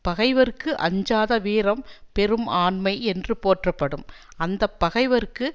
பகைவர்க்கு அஞ்சாத வீரம் பெரும் ஆண்மை என்று போற்றப்படும் அந்த பகைவர்க்கு